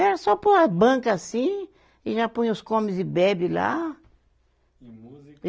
Era só pôr a banca assim e já põe os comes e bebe lá. E música